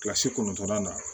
Kilasi kɔnɔntɔnnan na